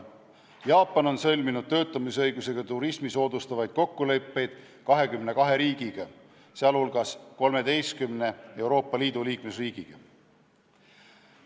Jaapan on sõlminud töötamisõigusega turismi soodustavaid kokkuleppeid 22 riigiga, sealhulgas 13 Euroopa Liidu liikmesriigiga.